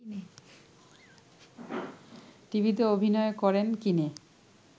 টিভিতে অভিনয় করেন কিনে